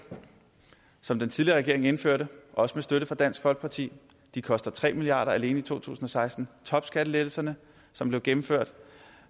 som den tidligere regering indførte også med støtte fra dansk folkeparti de koster tre milliard kroner alene i to tusind og seksten topskattelettelserne som blev gennemført